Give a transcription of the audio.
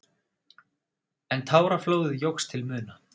En táraflóðið jókst til muna.